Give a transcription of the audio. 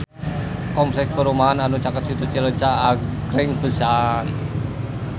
Kompleks perumahan anu caket Situ Cileunca agreng pisan